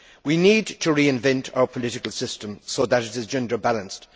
We need to reinvent our political system so that it is gender balanced.